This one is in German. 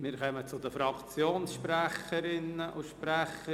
Wir kommen zu den Fraktionssprecherinnen und -sprechern.